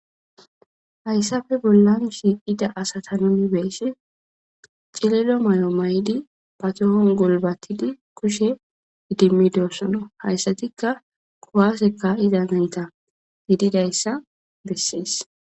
hayssafe bollan shiiqida asata numibeessi cilelo may7o may7di patohon golbatidi kushe idimmidossona hayssatikka kuwaseka iza nayta giididayssa bessees